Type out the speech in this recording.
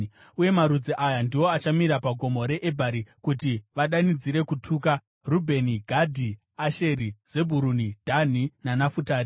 Uye marudzi aya ndiwo achamira paGomo reEbhari kuti vadanidzire kutuka: Rubheni, Gadhi, Asheri, Zebhuruni, Dhani, naNafutari.